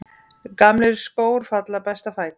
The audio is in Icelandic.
Gamlir skór falla best að fæti.